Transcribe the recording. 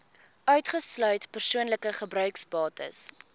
uitgesluit persoonlike gebruiksbates